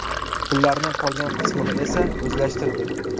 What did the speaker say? Pullarning qolgan qismini esa o‘zlashtirdi.